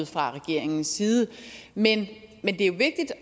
fra regeringens side men det